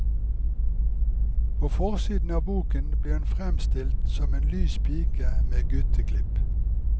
På forsiden av boken ble hun fremstilt som en lys pike med gutteklipp.